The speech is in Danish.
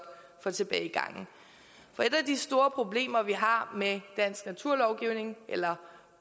for tilbagegangen for et af de store problemer vi har med dansk naturlovgivning eller